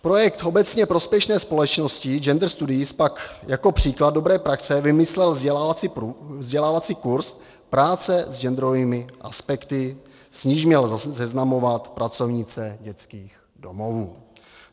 Projekt obecně prospěšné společnosti Gender studies pak jako příklad dobré praxe vymyslel vzdělávací kurz Práce s genderovými aspekty, s nímž měl seznamovat pracovnice dětských domovů.